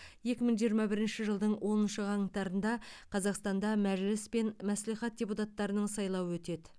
екі мың жиырма бірінші жылдың оныншы қаңтарында қазақстанда мәжіліс пен мәслихат депутаттарының сайлауы өтеді